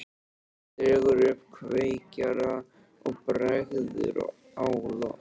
Hún dregur upp kveikjara og bregður á loft.